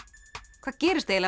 hvað gerist eiginlega